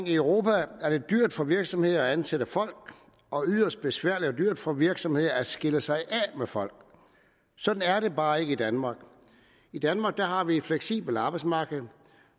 i europa er det dyrt for virksomheder at ansætte folk og yderst besværligt og dyrt for virksomheder at skille sig af med folk sådan er det bare ikke i danmark i danmark har vi et fleksibelt arbejdsmarked